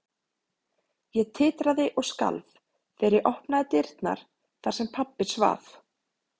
Ég titraði og skalf þegar ég opnaði dyrnar þar sem pabbi svaf.